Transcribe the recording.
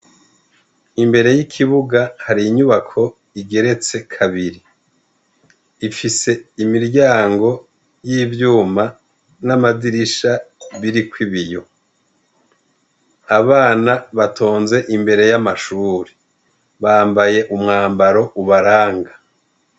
Imbere y'ikibuga hari inyubako igeretse kabiri, ifise imiryango y'ivyuma n'amadirisha biriko ibiyo, abana batonze imbere y'amashuri bambaye umwambaro ubaranga.